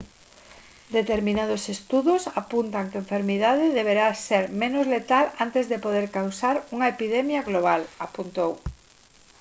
determinados estudos apuntan que enfermidade deberá ser menos letal antes de poder causar unha epidemia global apuntou